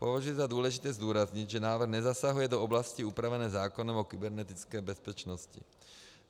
Považuji za důležité zdůraznit, že návrh nezasahuje do oblasti upravené zákonem o kybernetické bezpečnosti.